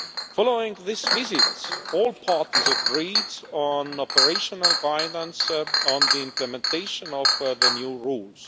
Following this visit, all parties agreed on operational guidance on the implementation of the new rules.